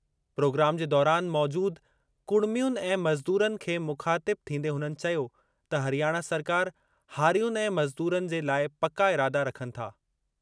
Programme जे दौरान मौजूदु कुड़मियुनि ऐं मज़दूरनि खे मुख़ातिब थींदे हुननि चयो त हरियाणा सरकार हारियुनि ऐं मज़दूरनि जे लाइ पका इरादा रखनि था।